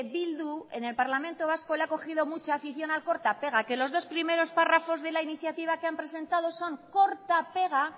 bildu en el parlamento vasco le ha cogido mucha afición al corta pega que los dos primeros párrafos de la iniciativa que han presentado son corta pega